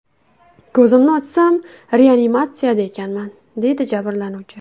Ko‘zimni ochsam, reanimatsiyada ekanman”, deydi jabrlanuvchi.